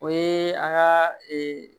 O ye an ka ee